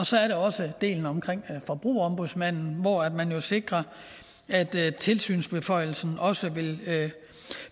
så er der også delen om forbrugerombudsmanden hvor man jo sikrer at tilsynsbeføjelsen også vil